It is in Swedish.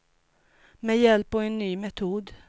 Med hjälp av en ny metod.